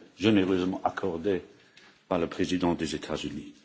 généreusement accordée par le président des États Unis.